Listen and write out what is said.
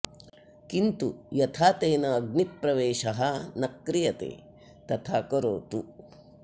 किन्तु यथा तेन अग्निप्रवेशः न क्रियते तथा करोतु